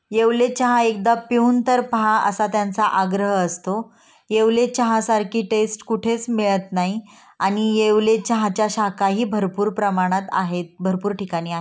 येवले चहा एकदा पिहून तर पहा असा त्यांचा आग्रह असतो. येवले चहा सारखी टेस्ट कुठेच मिळत नाही. आणि येवले चहाच्या शाखा ही भरपूर प्रमाणात आहेत. भरपूर ठिकाणी आ--